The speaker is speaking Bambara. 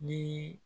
Ni